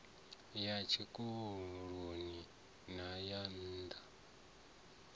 ya tshikoloni na ya nna